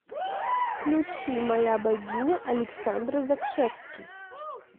включи моя богиня александр закшевский